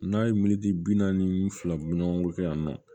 N'a ye militi bi naani ni fila ɲɔgɔngo kɛ yan nɔ